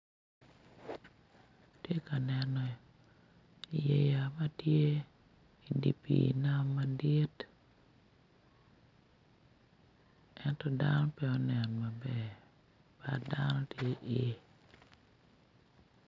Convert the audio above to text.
Ati ka neno yeya ma tye idi pii nam madit ento dano pe onen maber bat dano ti iye